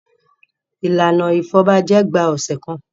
Ìlànà ìfọbajẹ gba ọ̀sẹ̀ kan.